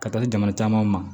Ka taa di jamana camanw ma